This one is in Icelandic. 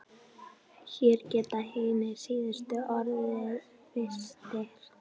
Hér geta hinir síðustu orðið fyrstir.